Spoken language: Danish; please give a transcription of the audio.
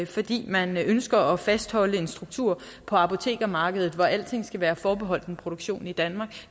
fordi man ønsker at fastholde en struktur på apotekermarkedet hvor alting skal være forbeholdt en produktion i danmark